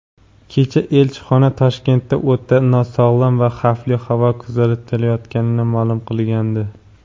Kecha elchixona Toshkentda o‘ta nosog‘lom va xavfli havo kuzatilayotganini ma’lum qilgandi.